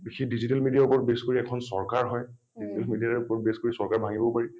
সেই digital media ৰ ওপৰত base কৰি এখন চৰকাৰ হয়। digital media ৰ ওপৰত base কৰি চৰকাৰ ভাঙিবও পাৰি।